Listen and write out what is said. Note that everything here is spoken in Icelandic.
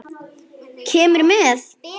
Kemurðu með?